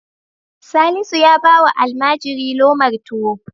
Salisu ya ba wa almajiri lomar tuwo.